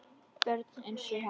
Börn einsog hann.